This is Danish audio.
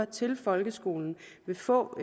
til folkeskolen vil få